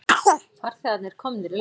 Farþegarnir komnir í land